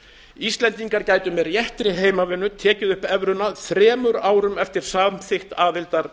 íslendingar gætu með réttri heimavinnu tekið upp evruna þremur árum eftir samþykkt aðildar